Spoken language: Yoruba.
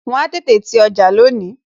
Wọn ó tètè ti ọjà lónìí